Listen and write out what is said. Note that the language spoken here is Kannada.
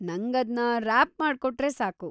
ನಂಗದ್ನ ರ್ಯಾಪ್‌ ಮಾಡ್ಕೊಟ್ರೆ ಸಾಕು.